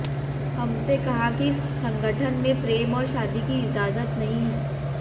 हमसे कहा कि संगठन में प्रेम और शादी की इजाजत नहीं है